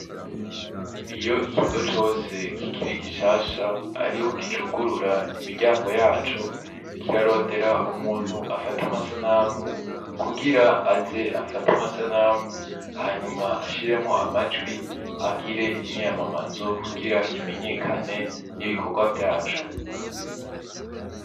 Iyo ikigo cose kikiri gishasha ariho kicugurura imiryango yaco ,kirarondera umuntu afata amasanamu kugira aze afate amasanamu hanyuma ashiremwo amajwi , agire imyiyamamazo kugira kimenyekane n'ibikorwa vyaco.